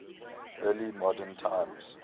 early modern times